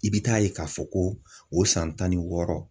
I bɛ taa ye k'a fɔ ko o san tan ni wɔɔrɔ